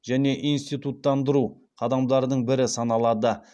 және институттандыру қадамдарының бірі саналады